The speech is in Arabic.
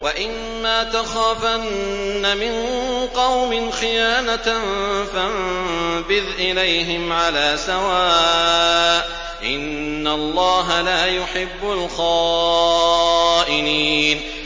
وَإِمَّا تَخَافَنَّ مِن قَوْمٍ خِيَانَةً فَانبِذْ إِلَيْهِمْ عَلَىٰ سَوَاءٍ ۚ إِنَّ اللَّهَ لَا يُحِبُّ الْخَائِنِينَ